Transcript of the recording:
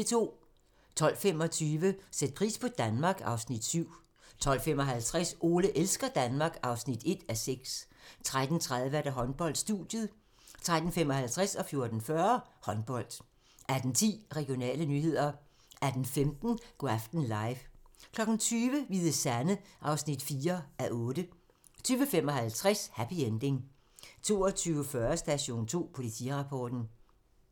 12:25: Sæt pris på Danmark (Afs. 7) 12:55: Ole elsker Danmark (1:6) 13:30: Håndbold: Studiet 13:55: Håndbold 14:40: Håndbold 18:10: Regionale nyheder 18:15: Go' aften live 20:00: Hvide Sande (4:8) 20:55: Happy Ending 22:40: Station 2: Politirapporten